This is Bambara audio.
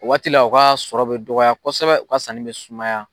O waati la u ka sɔrɔ bɛ dɔgɔya kosɛbɛ, u ka sanni bɛ sumaya.